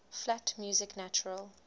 flat music natural